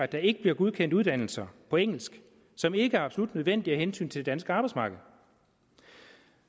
der ikke bliver godkendt uddannelser på engelsk som ikke er absolut nødvendige af hensyn til det danske arbejdsmarked